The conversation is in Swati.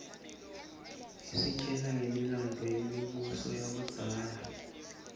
isitjela ngemilandvo yemibuso yakudzala